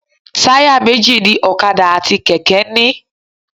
Táyà méjì ni ọ̀kadà àti kẹ̀kẹ́ ń ní.